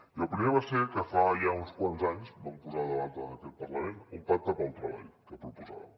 i el primer va ser que fa ja uns quants anys vam posar a debat en aquest parlament un pacte pel treball que proposàvem